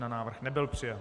Návrh nebyl přijat.